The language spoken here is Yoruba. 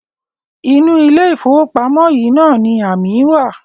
Inú ilé-ìfowópamọ́ yìí náà ni amí wa.